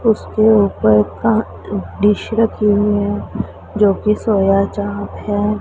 उसके ऊपर का डिश रखी हुई है जो कि सोयाचाप है।